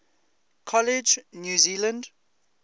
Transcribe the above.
college new zealand